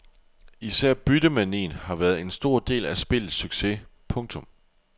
Især byttemanien har været en stor del af spillets succes. punktum